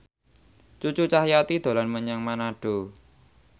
Cucu Cahyati dolan menyang Manado